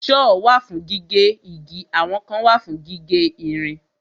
Sọ́ọ̀ wà fún gígé igi àwọn kan wà fún gígé ìrìn.